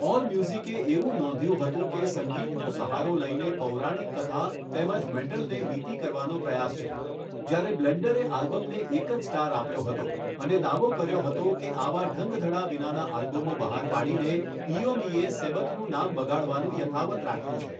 All મ્યુઝિકે એવું નોંધ્યું હતું કે સંગીતનો સહારો લઈને પૌરાણિક કથા તેમજ મેટલને મિતિ કરવાનો પ્રયાસ છે જ્યારે બ્લેન્ડરે આલ્બમને એક જ સ્ટાર આપ્યો હતો અને દાવો કર્યો હતો કે આવાં ઢંગધડા વિનાનાં આલ્બમો બહાર પાડીને ઇઓમઇએ સેબથનું નામ બગાડવાનું યથાવત્ રાખ્યું છે.